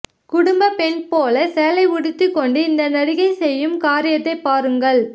குடும்ப பெண் போல சேலை உடுத்தி கொண்டு இந்த நடிகை செய்யும் காரியத்தை பாருங்கள்